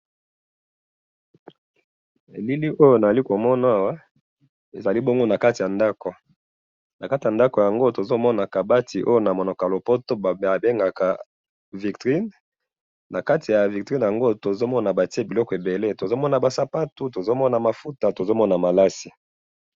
elili oyo nazali komona awa ezali bongo nakati ya ndaku nakati yango tozomona kabati eza na vitrine nakati ya vitrine tozomona biloko ebele tozomona mafuta tozomana ba sapato tozomona biloko ebele